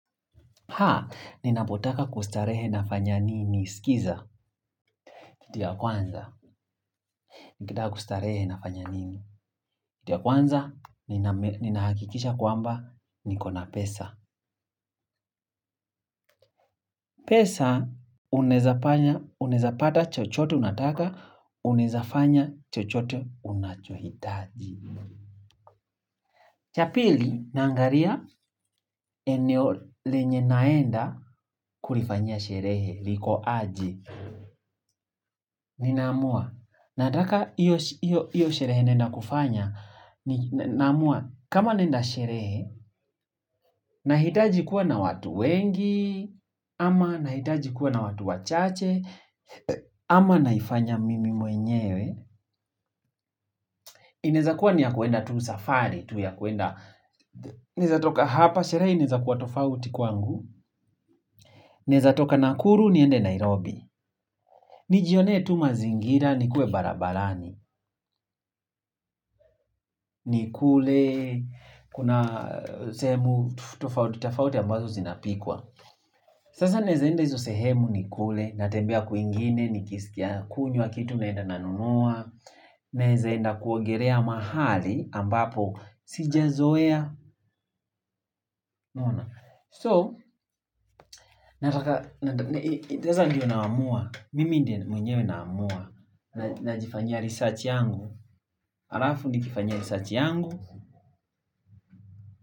Haa, ninapotaka kustarehe nafanya nini, sikiza, kitu ya kwanza. Nikitaka kustarehe nafanya nini, kitu ya kwanza, ninahakikisha kwa mba, nikona pesa. Pesa, unaezapata chochote, unataka, unaezafanya chochote, unachohitaji. Chapili, nangaria, eneo lenye naenda, kulifanyia sherehe, liko aje. Ninaamua nataka hiyo sherehe naenda kufanya. Namua, kama naenda sherehe. Nahitaji kuwa na watu wengi. Ama nahitaji kuwa na watu wachache. Ama naifanya mimi mwenyewe. Inaezakua niyakuenda tu safari. Naezatoka hapa sherehe inaeza kuwa tofauti kwangu. Naezatoka nakuru niende Nairobi. Nijione tu mazingira ni kue barabarani. Nikule, kuna sehemu totafauti ambazo zinapikwa. Sasa naezaenda hizo sehemu nikule. Natembea kwingine, nikisikia kunywa kitu naenda nanunua. Naeza enda kuogerea mahali ambapo sija zoea So, nataka, itaza ndiyo naamua. Mimi ndi mwenyewe naamua. Najifanyia research yangu. Arafu ndikifanyia research yangu.